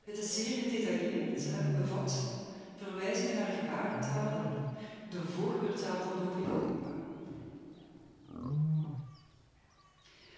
Het is zeer gedetailleerd en bevat verwijzingen naar gebarentalen, de voorkeurtaal van doven in Europa.